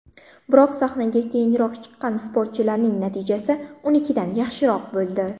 Biroq sahnaga keyinroq chiqqan sportchilarning natijasi unikidan yaxshiroq bo‘ldi.